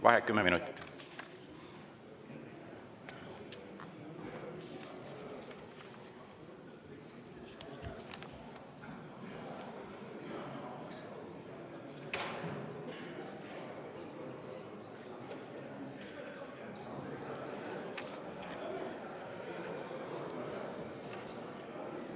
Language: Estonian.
Vaheaeg kümme minutit.